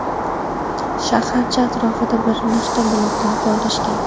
Shaharcha atrofida bir nechta buloqlar joylashgan.